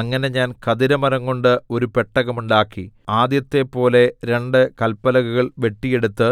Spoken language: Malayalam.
അങ്ങനെ ഞാൻ ഖദിരമരംകൊണ്ട് ഒരു പെട്ടകം ഉണ്ടാക്കി ആദ്യത്തെപ്പോലെ രണ്ട് കല്പലകകൾ വെട്ടിയെടുത്ത്